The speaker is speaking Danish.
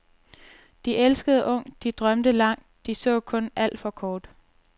De elskede ungt, de drømte langt, de så kun alt for kort.